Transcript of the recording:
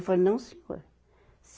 Eu falei, não senhor.